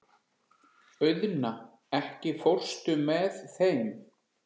Auðna, ekki fórstu með þeim?